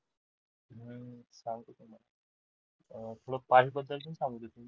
past बद्दल च सांगतो मी